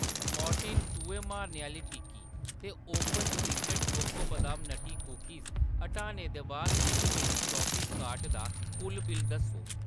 Mortein चुहे मारने आह्‌ली टिक्की ते ओपन सीक्रेट चोको बदाम नट्टी कुकीज़ हटाने दे बा`द मिगी मेरी शापिंग कार्ट दा कुल बिल्ल दस्सो।